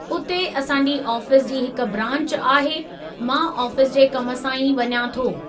उते असांजी आफ़ीस जी हिकु ब्रांच आहे, मां ऑफिस जे कम सां ई वञा थो।